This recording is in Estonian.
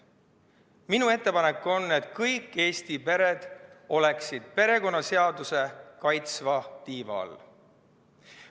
Minu ettepanek on, et kõik Eesti pered oleksid perekonnaseaduse kaitsva tiiva all.